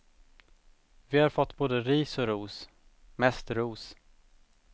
Vi har fått både ris och ros, mest ros.